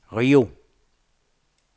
Rio